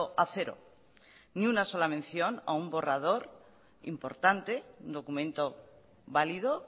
a cero ni una sola mención a un borrador importante un documento válido